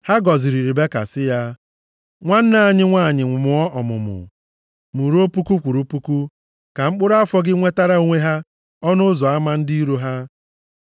Ha gọziri Ribeka sị ya, “Nwanne anyị nwanyị mụọ ọmụmụ, mụruo puku kwụrụ puku, ka mkpụrụ afọ gị nwetara onwe ha, ọnụ ụzọ ama ndị iro ha.”